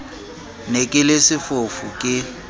ne ke le sefofu ke